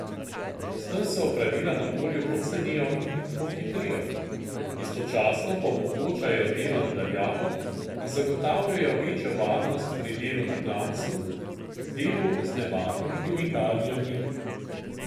S tem se opravila na polju pocenijo in pohitrijo, istočasno pa omogočajo delo na daljavo in zagotavljajo večjo varnost pri delu na klancu, delu z nevarnimi kemikalijami.